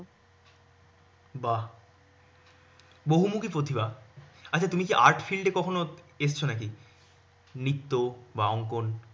বাহ। বহুমুখী প্রতিভা। আচ্ছা তুমি কী art field এ কখনও এসেছ নাকি? নৃত্য বা অঙ্কন